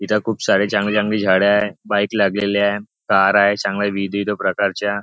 इथं खूप सारी चांगली चांगली झाडे आहेत बाईक लागलेली आहे कार आहे चांगल्या विविध विविध प्रकारच्या.